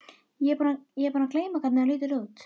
Ég er búin að gleyma hvernig þú lítur út.